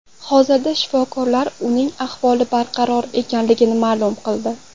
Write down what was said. Hozirda shifokorlar uning ahvoli barqaror ekanligini ma’lum qildi.